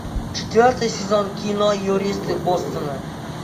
четвертый сезон кино юристы бостона